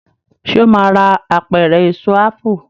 ṣe o má rà Apẹ̀rẹ̀ Èso ápù